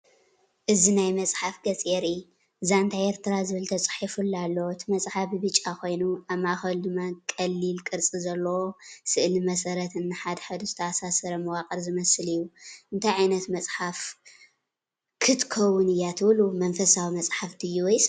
እዚ ናይ መጽሓፍ ገፅ የርኢ። “ዛንታኤርትራ” ዝብል ተጻሒፉሉ ኣሎ። እቲ መጽሓፍ ብብጫ ኮይኑ፡ ኣብ ማእከሉ ድማ ቀሊል ቅርጺ ዘለዎ ስእሊ መሰረትን ንሓድሕዱ ዝተኣሳሰር መዋቕርን ዝመስል እዩ። እንታይ ዓይነት መጽሓፍ ክትከውን እያ ትብሉ? መንፈሳዊ መጽሓፍ ድዩ ወይስ መምሃሪ?